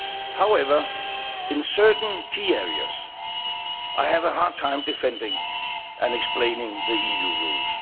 However, in certain key areas, I have a hard time defending and explaining the EU rules.